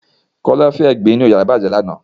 Kọ́lọ́fín ẹ̀gbin inú yàrá ibùsùn bàjẹ́ lànà